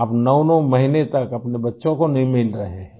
आप 99 महीने तक अपने बच्चों को नहीं मिल रहे हैं